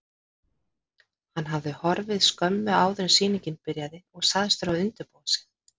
Hann hafði horfið skömmu áður en sýningin byrjaði og sagst þurfa að undirbúa sig.